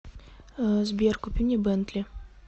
сбер купи мне бентли